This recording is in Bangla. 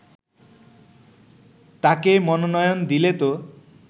তাকে মনোনয়ন দিলে তো